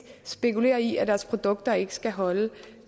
spekulerer i at deres produkter ikke skal holde